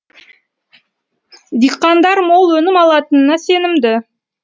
диқандар мол өнім алатынына сенімді